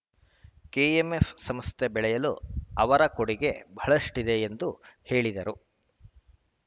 KMF ಸಂಸ್ಥೆ ಬೆಳೆಯಲು ಅವರ ಕೊಡುಗೆ ಬಹಳಷ್ಟಿದೆ ಎಂದು ಹೇಳಿದರು